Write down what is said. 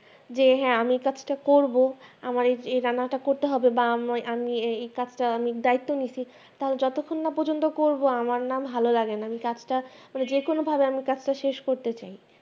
যে হ্যাঁ আমি এই কথাটি করব আমার এই রান্না তা করতে হবে বা আমি আমি এই এই কাজটা আমি দায়িত্ব নিয়েছি যতক্ষণ না করব আমার না ভালো লাগেনা মানে কাজটা মানে যে কোন ভাবে আমি শেষ করতে চাই